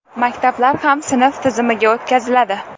Maktablar ham sinf tizimiga o‘tkaziladi.